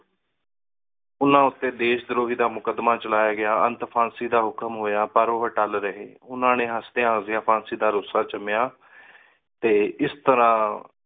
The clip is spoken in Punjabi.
ਓਹਨਾ ਊਟੀ ਦੇਸ਼ ਦਰੋਹੀ ਦਾ ਮੁਕ਼ਾਦ੍ਮਾ ਚਲਾਯਾ ਗਯਾ ਅਨਤ ਫਾਂਸੀ ਦਾ ਹੁਕਮ ਹੋਯਾ ਪਰ ਓਹੋ ਅੱਟਲ ਰਹੀ ਓਹਨਾ ਨੀ ਹਾਸ੍ਦ੍ਯਾ ਹਾਸ੍ਦ੍ਯਾ ਫਾਂਸੀ ਦਾ ਰਸ੍ਸਾ ਚੁਮ੍ਯਾ ਟੀ ਏਸ ਤਰ੍ਹਾ